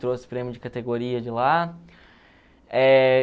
Trouxe prêmio de categoria de lá. Eh...